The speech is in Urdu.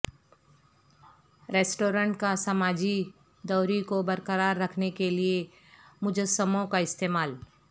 ریسٹورینٹ کا سماجی دوری کو برقرار رکھنے کیلئے مجسموں کا استعمال